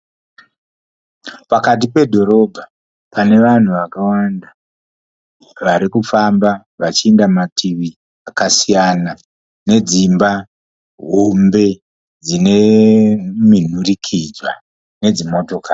Pakati pedhorobha pane vanhu vakawanda varikufamba vachienda mativi akasiyana nedzimba hombe dzine minhurikidzwa nedzimotokari.